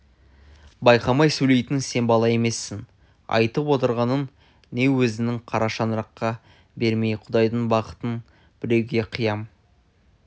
байқамай сөйлейтін сен бала емессің айтып отырғанын не өзіңнің қара шаңыраққа берген құдайдың бақытын біреуге қиям